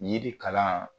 Yiri kalan